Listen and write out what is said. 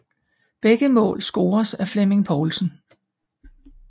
Begge mål scores af Flemming Povlsen